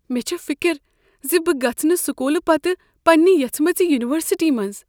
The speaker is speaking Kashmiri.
مےٚ چھےٚ فکر ز بہٕ گژھہٕ نہٕ سکولہٕ پتہٕ پننہ یژھِمٕژِ یونیورسٹی منٛز ۔